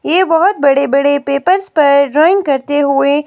ये बहोत बड़े बड़े पेपर्स पर ड्रॉईंग करते हुए--